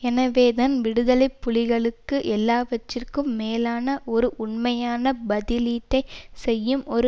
எனவேதான் விடுதலை புலிகளுக்கு எல்லாவற்றிற்கும் மேலான ஒரு உண்மையான பதிலீட்டை செய்யும் ஒரு